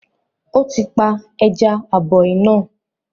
Ó ti pa “ ẹja-aboí” náà